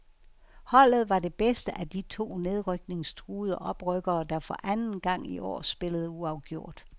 Holdet var det bedste af de to nedrykningstruede oprykkere der for anden gang i år spillede uafgjort.